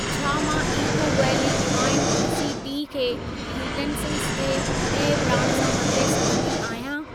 छा मां eco valley divine tulsi tea खे यूटेन्सिलस जे ॿिए ब्रांड सां बदिले सघंदी आहियां?